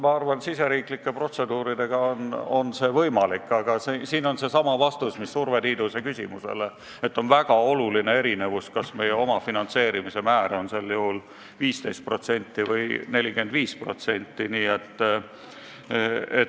Ma arvan, et riigisiseste protseduuridega on see võimalik, aga viitan nagu Urve Tiiduse küsimusele vastates, et on väga oluline erinevus, kas meie omafinantseerimise määr on 15% või 45%.